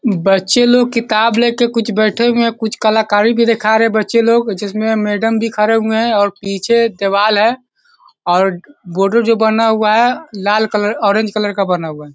बच्चे लोग किताब लेके कुछ बैठे हुए है कुछ कलाकारी भी दिखा रहे है बच्चे लोग जिसमे मैडम भी खड़े हुए है और पीछे दीवाल है और बॉर्डर जो बना हुआ है लाल कलर ऑरेंज कलर का बना हुआ है।